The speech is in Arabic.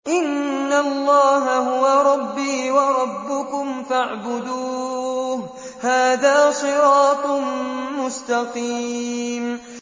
إِنَّ اللَّهَ هُوَ رَبِّي وَرَبُّكُمْ فَاعْبُدُوهُ ۚ هَٰذَا صِرَاطٌ مُّسْتَقِيمٌ